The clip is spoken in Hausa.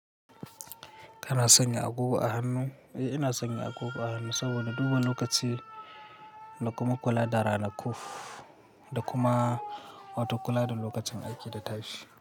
Kana sanya agogo a hannu? Eh, ina sanya agogo a hannu saboda duba lokaci da kuma kula da ranaku da kuma wato kula da lokacin aiki da tashi.